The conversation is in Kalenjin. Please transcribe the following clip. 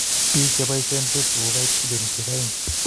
Biik chebaisien facebook kokait bilionisiek 2